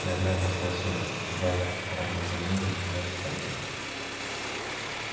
я глянул сквозь сумрак два ярких оранжевых огня приближались к подъезду